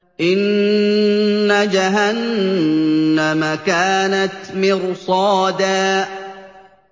إِنَّ جَهَنَّمَ كَانَتْ مِرْصَادًا